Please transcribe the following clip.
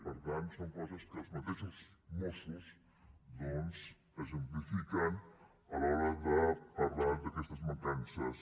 per tant són coses que els mateixos mossos doncs exemplifiquen a l’hora de parlar d’aquestes mancances